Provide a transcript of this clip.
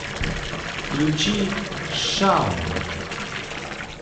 включи шаун